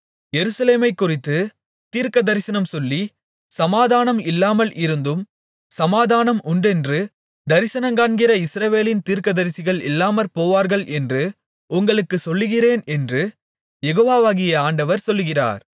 எருசலேமைக்குறித்துத் தீர்க்கதரிசனம்சொல்லி சமாதானம் இல்லாமல் இருந்தும் சமாதானம் உண்டென்று தரிசனங்காண்கிற இஸ்ரவேலின் தீர்க்கதரிசிகள் இல்லாமற்போவார்கள் என்று உங்களுக்குச் சொல்லுகிறேன் என்று யெகோவாகிய ஆண்டவர் சொல்லுகிறார்